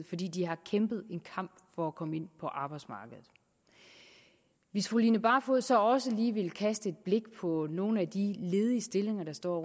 fordi de har kæmpet en kamp for at komme ind på arbejdsmarkedet hvis fru line barfod så også lige ville kaste et blik på nogle af de ledige stillinger der står